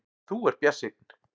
Þú ert bjartsýnn!